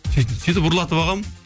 сөйтіп сөйтіп ұрлатып алғанмын